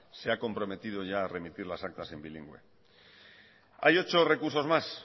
se ha comprometido ya a remitir las actas en bilingüe hay ochos recursos más